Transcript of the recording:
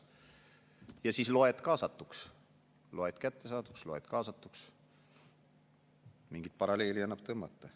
Ja siis loed kaasatuks, loed kättesaaduks – mingit paralleeli annab tõmmata.